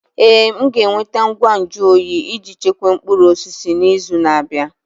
Ee, m ga-enweta ngwa nju oyi iji chekwaa mkpụrụ osisi n'izu na-abịa.